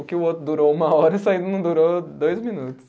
O que o outro durou uma hora, isso ainda não durou dois minutos.